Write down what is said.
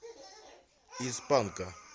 из панка